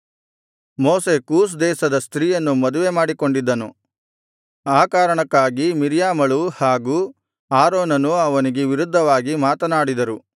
ಮೋಶೆ ಕೂಷ್ ದೇಶದ ಸ್ತ್ರೀಯನ್ನು ಮದುವೆ ಮಾಡಿಕೊಂಡಿದ್ದನು ಆ ಕಾರಣಕ್ಕಾಗಿ ಮಿರ್ಯಾಮಳೂ ಹಾಗೂ ಆರೋನನೂ ಅವನಿಗೆ ವಿರುದ್ಧವಾಗಿ ಮಾತನಾಡಿದರು